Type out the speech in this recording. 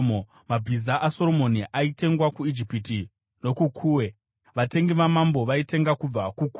Mabhiza aSoromoni aitengwa kuIjipiti nokuKuwe, vatengi vamambo vaitenga kubva kuKuwe.